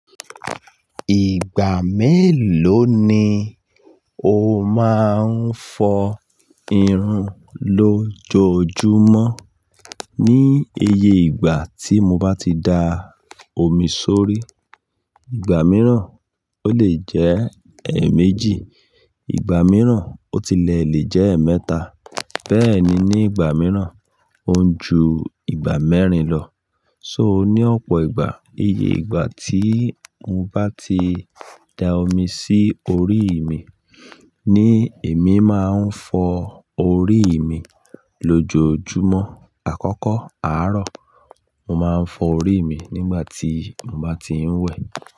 Ìgbà mélòó ni o máa ń fọ irun lójojúmọ́? Ní iye ìgbà tí mo bá ti da omi sórí, ìgbà mìíràn ó lè jẹ́ ẹ̀ẹ̀méjì, ìgbà mìíràn ó tilẹ̀ lè jẹ́ ẹ̀ẹ̀mẹ́ta. Bẹ́ẹ̀ ni, ní ìgbà mìíràn ó ń ju ìgbà mẹ́rin lọ. So ó ní ọ̀pọ̀ ìgbà. Iye ìgbà tí mo bá ti da omi sí orí mi ni èmi máa ń fọ orí mi lójojúmọ́. Àkọ́kọ́ àárọ̀, mo máa ń fọ orí mi nígbà tí mo bá ti ń wẹ̀.